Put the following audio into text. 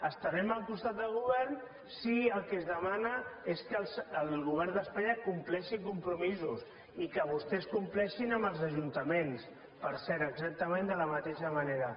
estarem al costat del govern si el que es demana és que el govern d’espanya compleixi compromisos i que vostès compleixin amb els ajuntaments per cert exactament de la mateixa manera